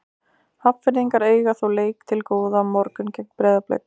Hafnfirðingar eiga þó leik til góða á morgun gegn Breiðablik.